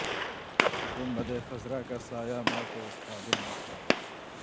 گنبد خضرا کا سایہ میں تو اس قابل نہ تھا